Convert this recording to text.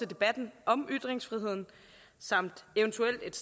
debatten om ytringsfriheden samt eventuelt